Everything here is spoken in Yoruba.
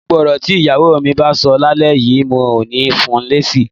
Gbogbo ọ̀rọ̀ tí ìyàwó mi bá sọ lálẹ́ yìí, mi ò ní fun lésì